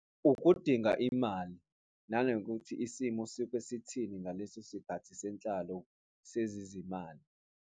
Ukudinga imali, nanokuthi isimo sisuke sithini ngaleso sikhathi senhlalo sezezimali.